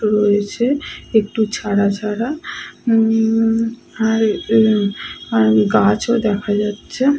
রয়েছে একটু ছাড়া ছাড়া উম আর এ আর গাছও দেখা যাচ্ছে।